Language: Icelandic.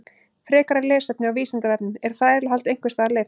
Frekara lesefni á Vísindavefnum: Er þrælahald einhvers staðar leyft?